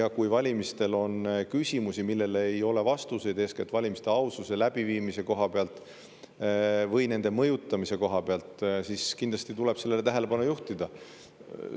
Ja kui valimiste kohta on küsimusi, millele ei ole vastuseid, eeskätt valimiste aususe ja läbiviimise koha pealt või nende mõjutamise koha pealt, siis kindlasti tuleb nendele tähelepanu juhtida.